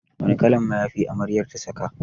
Wane kalan mayafi amaryar ta saka?